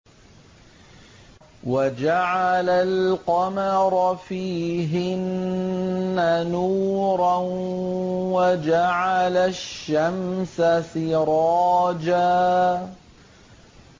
وَجَعَلَ الْقَمَرَ فِيهِنَّ نُورًا وَجَعَلَ الشَّمْسَ سِرَاجًا